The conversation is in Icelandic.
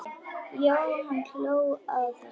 Já, hann hló að þessu!